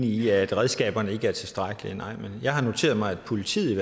i at redskaberne ikke er tilstrækkelige nej men jeg har noteret mig at politiet i